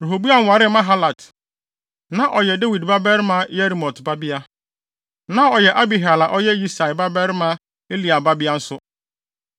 Rehoboam waree Mahalat. Na ɔyɛ Dawid babarima Yerimot babea. Na ɔyɛ Abihail a ɔyɛ Yisai babarima Eliab babea nso.